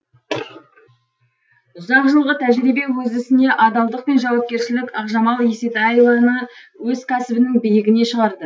ұзақ жылғы тәжірибе өз ісіне адалдық пен жауапкершілік ақжамал есетаеваны өз кәсібінің биігіне шығарды